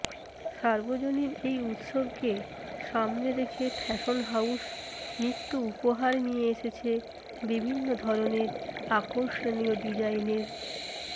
সার্বজনীন এই উৎসবকে সামনে রেখে ফ্যাশন হাউস নিত্য উপহার নিয়ে এসেছে বিভিন্ন ধরনের আকর্ষণীয় ডিজাইনের